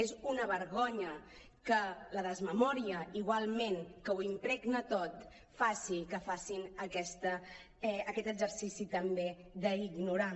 és una vergonya que la desmemòria igualment que ho impregna tot faci que facin aquest exercici també d’ignorar